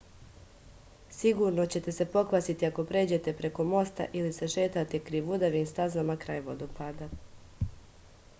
sigurno ćete se pokvasiti ako pređete preko mosta ili se šetate krivudavim stazama kraj vodopada